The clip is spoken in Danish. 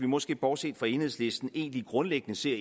måske bortset fra enhedslisten egentlig grundlæggende ser